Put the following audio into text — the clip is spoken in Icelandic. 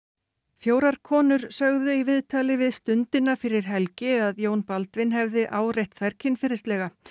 fjórar konur sögðu í viðtali við Stundina fyrir helgi að Jón Baldvin hefði áreitt þær kynferðislega